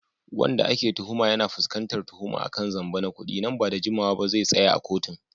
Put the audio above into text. Wanda ake tuhuma, yana fuskantar tuhuma kan zamba na kudi, nan ba da jimawa ba zai tsaya a kotun